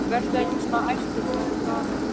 Vertu ekki svona æstur, sagði Daði þá.